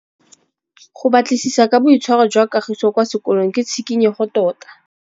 Go batlisisa ka boitshwaro jwa Kagiso kwa sekolong ke tshikinyêgô tota.